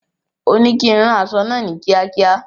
Òní kí ń rán aṣọ náà ni kiakia